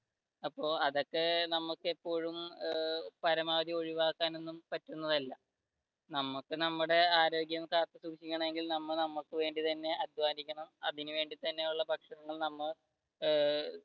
അപ്പൊ അതൊക്കെ നമുക്ക് ഇപ്പോഴും പരമാവധി ഒഴിവാക്കാൻ പറ്റുന്നത് അല്ല നമുക്ക് നമ്മുടെ ആരോഗ്യം കാത്തുസൂക്ഷിക്കണമെങ്കിൽ നമുക്ക് വേണ്ടി തന്നെ അധ്വാനിക്കണം അതിനു വേണ്ടി തന്നെയുള്ള ഭക്ഷണങ്ങൾ നമ്മ ഏർ